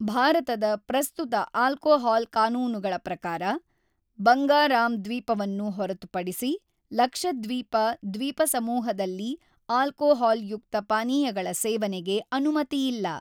ಭಾರತದ ಪ್ರಸ್ತುತ ಆಲ್ಕೋಹಾಲ್ ಕಾನೂನುಗಳ ಪ್ರಕಾರ, ಬಂಗಾರಾಮ್ ದ್ವೀಪವನ್ನು ಹೊರತುಪಡಿಸಿ ಲಕ್ಷದ್ವೀಪ ದ್ವೀಪಸಮೂಹದಲ್ಲಿ ಆಲ್ಕೊಹಾಲ್ ಯುಕ್ತ ಪಾನೀಯಗಳ ಸೇವನೆಗೆ ಅನುಮತಿಯಿಲ್ಲ.